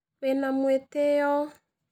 Wĩna mũĩtĩyo.